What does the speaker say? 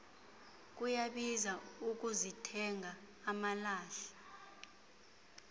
kuyabiza ukuzithenga amalahle